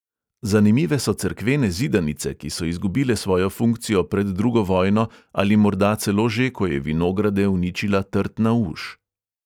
Zanimive so cerkvene zidanice, ki so izgubile svojo funkcijo pred drugo vojno ali morda celo že, ko je vinograde uničila trtna uš.